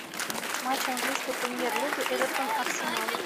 матч английской премьер лиги эвертон арсенал